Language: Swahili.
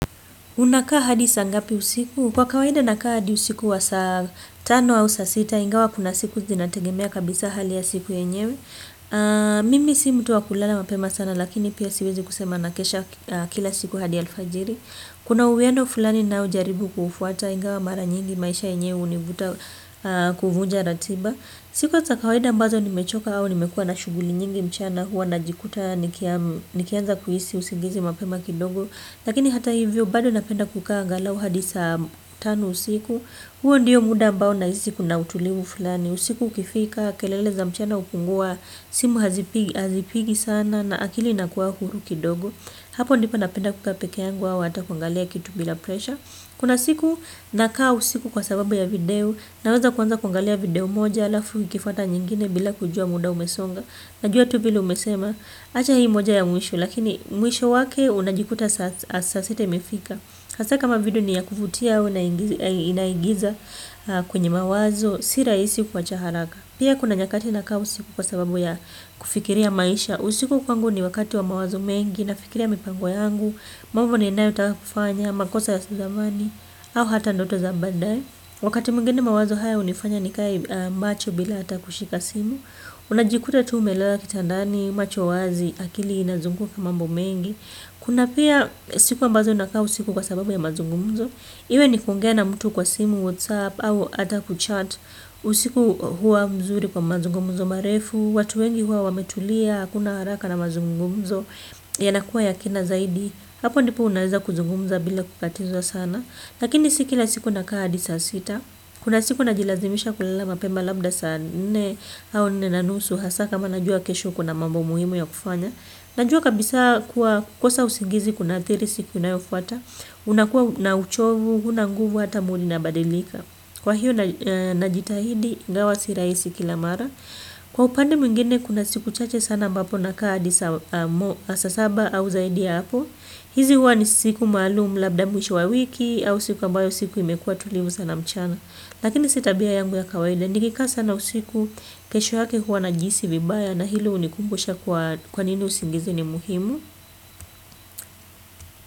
Unakaa hadi saa ngapi usiku? Kwa kawaida nakaa hadi usiku wa saa tano au saa sita, ingawa kuna siku zinategemea kabisa hali ya siku yenyewe. Mimi si mtu wa kulala mapema sana lakini pia siwezi kusema nakesha kila siku hadi alfajiri. Kuna uwiano fulani ninojaribu kuufuata, ingawa mara nyingi maisha yenyewe hunivuta kuvunja ratiba. Siku za kawaida ambazo nimechoka au nimekuwa na shughuli nyingi mchana huwa najikuta nikianza kuhisi usingizi mapema kidogo. Lakini hata hivyo bado napenda kukaa angalau hadi saa tano usiku. Huo ndio muda ambao nahisi kuna utulivu fulani. Usiku ukifika, kelele za mchana hupungua, simu hazipigi sana na akili inakuwa huru kidogo. Hapo ndipo napenda kukaa peke yangu au hata kuangalia kitu bila presha. Kuna siku nakaa usiku kwa sababu ya video. Naweza kuanza kuangalia video moja alafu ikifuata nyingine bila kujua muda umesonga. Najua tu vile umesema, acha hii moja ya mwisho, lakini mwisho wake unajikuta saa sita imefika. Hasa kama video ni ya kuvutia, inaigiza kwenye mawazo, si rahisi kuwacha haraka. Pia kuna nyakati nakaa usiku kwa sababu ya kufikiria maisha. Usiku kwangu ni wakati wa mawazo mengi. Nafikiria mipango yangu, mambo ninayotaka kufanya, makosa ya zamani, au hata ndoto za baadae. Wakati mwingine mawazo haya hunifanya nikae macho bila hata kushika simu. Unajikuta tu umelala kitandani, macho wazi, akili inazunguka mambo mengi. Kuna pia siku ambazo nakaa usiku kwa sababu ya mazungumzo. Iwe ni kuongea na mtu kwa simu, WhatsApp, au hata kuchat. Usiku huwa mzuri kwa mazungumzo marefu. Watu wengi huwa wametulia, hakuna haraka na mazungumzo. Yanakuwa ya kina zaidi. Hapo ndipo unaweza kuzungumza bila kukatizwa sana. Lakini si kila siku nakaa hadi saa sita. Kuna siku najilazimisha kulala mapema labda saa nne au nne na nusu hasa kama najua kesho kuna mambo muhimu ya kufanya. Najua kabisa kuwa kukosa usingizi kunaathiri siku inayofuata. Unakuwa na uchovu, hauna nguvu hata mood inabadilika. Kwa hiyo najitahidi, ingawa si rahisi kila mara. Kwa upande mwingine kuna siku chache sana ambapo nakaa hadi saa saba au zaidi ya hapo. Hizi huwa ni siku maalum labda mwisho wa wiki au siku ambayo siku imekuwa tulivu sana mchana. Lakini si tabia yangu ya kawaida, nikikaa sana usiku kesho yake huwa najihisi vibaya na hilo hunikumbusha kuwa kwa nini usingizi ni muhimu.